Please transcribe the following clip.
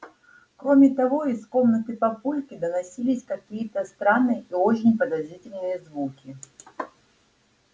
кроме того из комнаты папульки доносились какие-то странные и очень подозрительные звуки